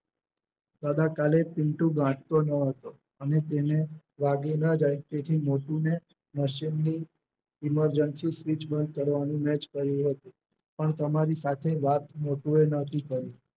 અદા કાલે પિન્ટુ ગાંઠતો ન હતો અને તેને વાગી ન જાય તેથી મોટુને મશીનની Emergency switch બંધ કરવાનું મેં જ કહ્યું હતું. પણ તમારી સાથે વાત મોટુએ નોતી કરી